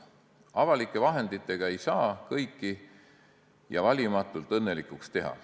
Avalike vahenditega ei saa kõiki ja valimatult õnnelikuks teha.